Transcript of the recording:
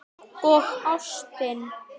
Og ástin.